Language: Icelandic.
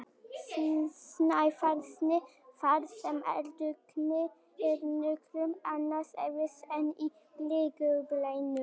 Snæfellsnesi þar sem eldvirkni er nokkuð annars eðlis en í gliðnunarbeltunum.